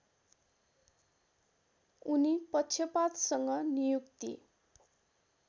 उनी पक्षपातसँग नियुक्ति